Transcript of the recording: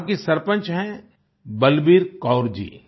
वहाँ की सरपंच हैं बलबीर कौर जी